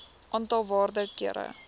aantal waarde kere